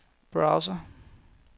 browser